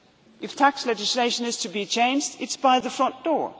If tax legislation is to be changed, it is done by the front